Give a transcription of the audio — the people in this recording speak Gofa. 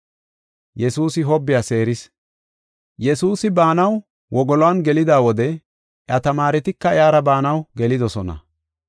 Yesuusi baanaw wogoluwan gelida wode, iya tamaaretika iyara baanaw gelidosona.